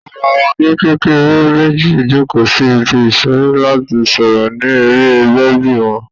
Àwọn ọmọdé kékeré méjì jókòó sí ibi ìṣeré láti sọ̀rọ̀ ní eré bèbí wọn.